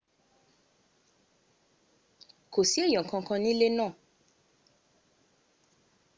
kò sí èyàn kan kan nílé ná